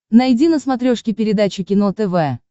найди на смотрешке передачу кино тв